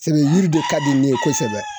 Sebe yiri de ka di ne ye kosɛbɛ.